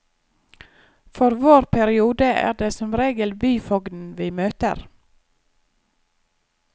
For vår periode er det som regel byfogden vi møter.